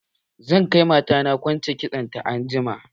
Zan kai mata na kwance kitson ta anjima.